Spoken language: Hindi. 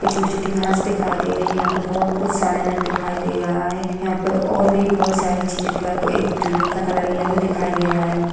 छोटी छोटी घांस दिखाई दे रही है। यहाँ पे बहुत कुछ सामान दिखाई दे रहा है। यहाँ पर और भी बहुत सारी चीजें दिखाई एक बिल्डिंग का कलर येल्लो दिखाई दे रहा है।